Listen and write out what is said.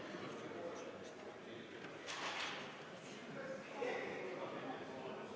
Kuulutan hääletamise Riigikogu aseesimeeste valimisel lõppenuks.